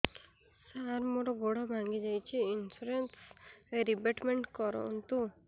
ସାର ମୋର ଗୋଡ ଭାଙ୍ଗି ଯାଇଛି ଇନ୍ସୁରେନ୍ସ ରିବେଟମେଣ୍ଟ କରୁନ୍ତୁ